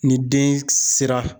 Ni den sera